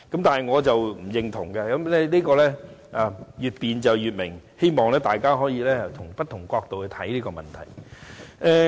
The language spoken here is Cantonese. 但我並不認同這一點，因為真理越辯越明，我希望大家可從不同角度看待這個問題。